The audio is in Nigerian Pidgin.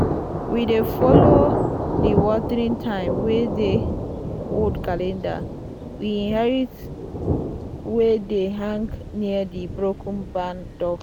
"we dey follow di watering time wey dey old calendar we inherit wey dey hang near di broken barn door."